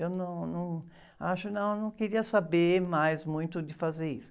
Eu não, não acho, não, eu não queria saber mais muito de fazer isso.